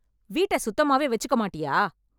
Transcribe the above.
வீட்டை சுத்தமாவே வச்சுக்க மாட்டியா?